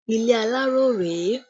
Ilé aláró rèé